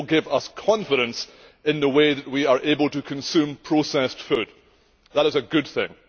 It will give us confidence in the way that we are able to consume processed food. That is a good thing.